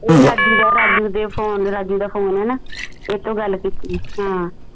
ਇਹ ਰਾਜੂ ਦਾ ਰਾਜੂ ਦੇ ਫੋਨ ਰਾਜੂ ਦਾ ਫੋਨ ਹੈ ਨਾ ਏਸ ਤੋ ਗਲ ਕੀਤੀ ਹਾਂ